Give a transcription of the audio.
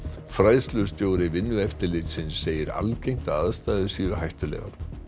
fræðslustjóri Vinnueftirlitsins segir algengt að aðstæður séu hættulegar